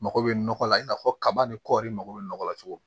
Mago bɛ nɔgɔ la i n'a fɔ kaba ni kɔɔri mago bɛ nɔgɔ la cogo min